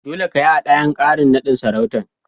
Dolle ka yi hadayan karin nadin sarautan.